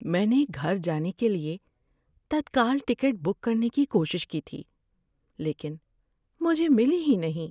میں نے گھر جانے کے لیے تتکال ٹکٹ بک کرنے کی کوشش کی تھی لیکن مجھے ملی ہی نہیں۔